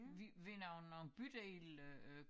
Ved ved nogle nogle bydele øh